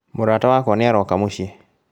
Mũrata wakwa nĩaroka Mũciĩ